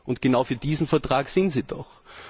Doch genau für diesen Vertrag sind Sie doch!